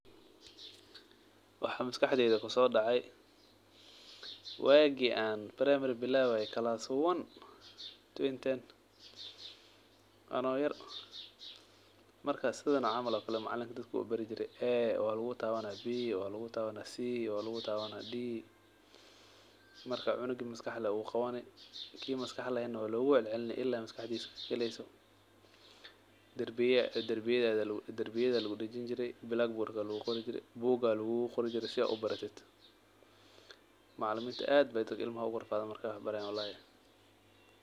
Waxaa maskaxdedha kusodece wagi an primary bilawaye class one, twenty ten anoo markas sidhan camal oo kale macalin dadka u bari jire , 'a' walugutaban, 'b' walugutabanah, 'c' walugutabanah, 'd' marka cunuga maskax le uu qawani, ki maskax lehena walogucelcelini ila maskaxdisa kagaleyso , darbiyada lagudajin jire, blackboard aa lagudajin jire, macaliminta ad bay ugurafaden marka carurta wax barayen walahi.